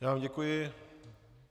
Já vám děkuji.